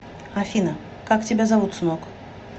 афина как тебя зовут сынок